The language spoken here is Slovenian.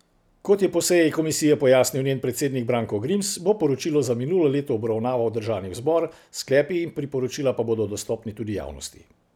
Kot je po seji komisije pojasnil njen predsednik Branko Grims, bo poročilo za minulo leto obravnaval državni zbor, sklepi in priporočila pa bodo dostopni tudi javnosti.